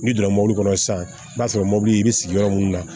N'i donna mobili kɔnɔ sisan i b'a sɔrɔ mɔbili bɛ sigi yɔrɔ minnu na